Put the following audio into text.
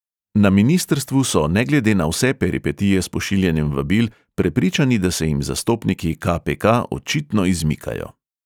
Na ministrstvu so ne glede na vse peripetije s pošiljanjem vabil prepričani, da se jim zastopniki ka|pe|ka očitno izmikajo.